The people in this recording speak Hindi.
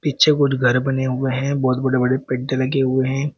पीछे कुछ घर बने हुए हैं बहुत बड़े बड़े लगे हुए हैं।